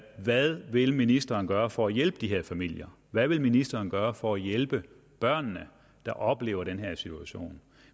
hvad vil ministeren gøre for at hjælpe de her familier hvad vil ministeren gøre for at hjælpe børnene der oplever den her situation